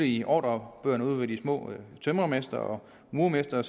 i ordrebøgerne ude hos de små tømrermestre og murermestre